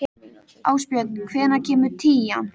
Ásbjörn, hvenær kemur tían?